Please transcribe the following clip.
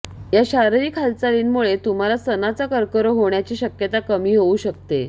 या शारीरिक हालचालींमुळे तुम्हाला स्तनाचा कर्करोग होण्याची शक्यता कमी होऊ शकते